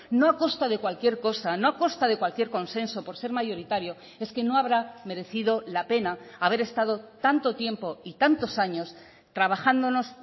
no a costa de cualquier cosa no a costa de cualquier consenso por ser mayoritario es que no habrá merecido la pena haber estado tanto tiempo y tantos años trabajándonos